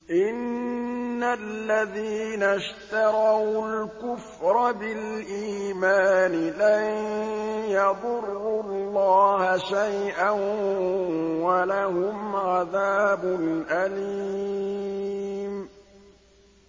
إِنَّ الَّذِينَ اشْتَرَوُا الْكُفْرَ بِالْإِيمَانِ لَن يَضُرُّوا اللَّهَ شَيْئًا وَلَهُمْ عَذَابٌ أَلِيمٌ